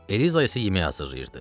Eliza isə yemək hazırlayırdı.